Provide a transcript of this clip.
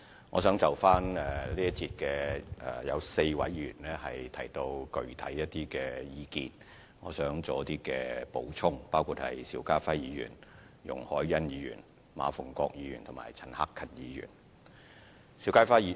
有4位議員在這一節辯論提到一些具體意見，我想稍作補充，包括邵家臻議員、容海恩議員、馬逢國議員及陳克勤議員。